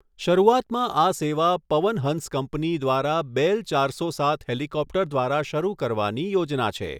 શરૂઆતમાં આ સેવા પવનહંસ કંપની દ્વારા બેલ ચારસો સાત હેલિકોપ્ટર દ્વારા શરૂ કરવાની યોજના છે.